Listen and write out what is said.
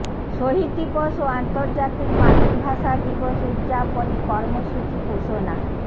শহীদ দিবস ও আন্তর্জাতিক মাতৃভাষা দিবস উদযাপনে কর্মসূচি ঘোষণা